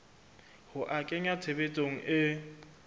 ho a kenya tshebetsong e